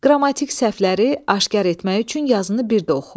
Qrammatik səhvləri aşkar etmək üçün yazını bir də oxu.